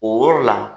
O yɔrɔ la